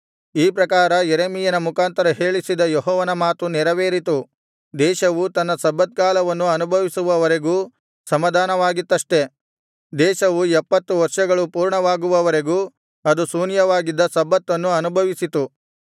ಈ ಪ್ರಕಾರ ಯೆರೆಮೀಯನ ಮುಖಾಂತರ ಹೇಳಿಸಿದ ಯೆಹೋವನ ಮಾತು ನೆರವೇರಿತು ದೇಶವು ತನ್ನ ಸಬ್ಬತ್ ಕಾಲವನ್ನು ಅನುಭವಿಸುವವರೆಗೂ ಸಮಾಧಾನವಾಗಿತ್ತಷ್ಟೇ ದೇಶವು ಎಪ್ಪತ್ತು ವರ್ಷಗಳು ಪೂರ್ಣವಾಗುವವರೆಗೂ ಅದು ಶೂನ್ಯವಾಗಿದ್ದ ಸಬ್ಬತ್ತನ್ನು ಅನುಭವಿಸಿತು